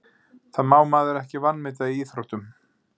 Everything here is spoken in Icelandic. Það má maður ekki vanmeta í íþróttum.